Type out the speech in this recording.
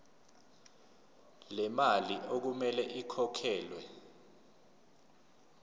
lemali okumele ikhokhelwe